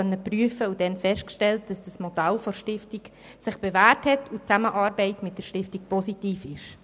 Dabei haben wir festgestellt, dass sich das Modell der Stiftung bewährt hat und die Zusammenarbeit mit der Stiftung positiv ist.